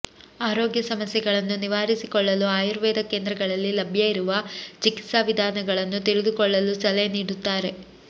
ಆರೋಗ್ಯ ಸಮಸ್ಯೆಗಳನ್ನು ನಿವಾರಿಸಿಕೊಳ್ಳಲು ಆಯುರ್ವೇದ ಕೇಂದ್ರಗಳಲ್ಲಿ ಲಭ್ಯ ಇರುವ ಚಿಕಿತ್ಸಾ ವಿಧಾನಗಳನ್ನು ತಿಳಿದುಕೊಳ್ಳಲು ಸಲಹೆ ನೀಡುತ್ತಾರೆ